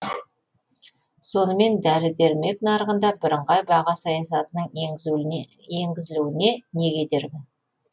сонымен дәрі дәрмек нарығында бірыңғай баға саясатының енгізілуіне не кедергі